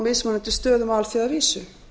mismunandi stöðum á alþjóðavísu